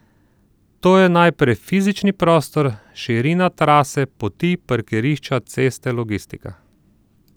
To je najprej fizični prostor, širina trase, poti, parkirišča, ceste, logistika.